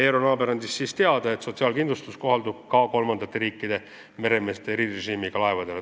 Eero Naaber andis teada, et sotsiaalkindlustus kohaldub ka kolmandate riikide meremeestele erirežiimiga laevadel.